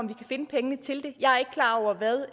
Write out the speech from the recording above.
kan finde pengene til det jeg er ikke klar over hvad